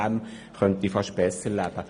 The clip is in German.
Damit könnte ich fast besser leben.